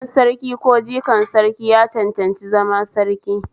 Ɗan Sarki ko jikan Sarki ya cancanci zama Sarki